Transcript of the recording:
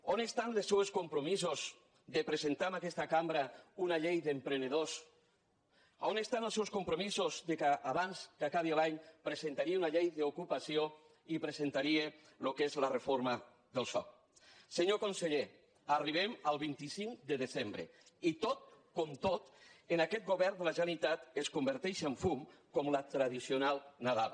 on estan els seus compromisos de presentar en aquesta cambra una llei d’emprenedors on estan els seus compromisos que abans que acabi l’any presentaria una llei d’ocupació i presentaria el que és la reforma del soc senyor conseller arribem al vint cinc de desembre i tot com tot en aquest govern de la generalitat es converteix en fum com la tradicional nadala